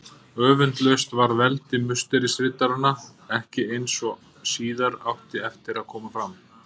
Öfundlaust varð veldi Musterisriddaranna ekki, eins og síðar átti eftir að koma fram.